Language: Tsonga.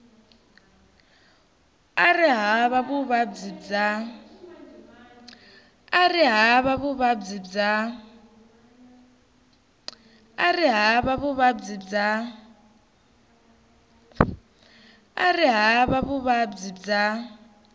a ri hava vuvabyi bya